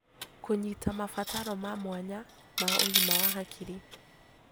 Kũnyita mabataro ma mwanya ma ũgima wa hakiri